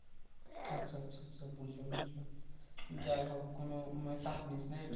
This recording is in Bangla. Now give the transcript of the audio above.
আচ্ছা আচ্ছা সব বুঝলাম যাইহোক কোনো মানে চাপ নিস্ না এটা